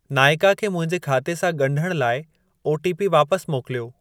नाइका खे मुंहिंजे खाते सां ॻंढण लाइ ओटीपी वापसि मोकिलियो।